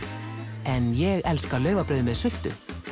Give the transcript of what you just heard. en ég elska laufabrauð með sultu